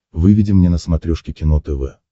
выведи мне на смотрешке кино тв